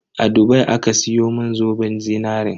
A Dubai aka siyo mun zoben zinarin.